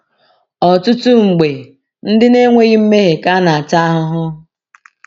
Ọtụtụ mgbe, ndị na-enweghị mmehie ka na-ata ahụhụ.